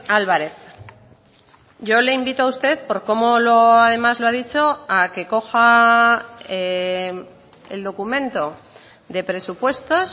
álvarez yo le invito a usted por cómo además lo ha dicho a que coja el documento de presupuestos